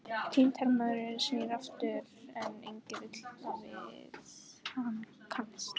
Týndi hermaðurinn snýr aftur, en enginn vill við hann kannast.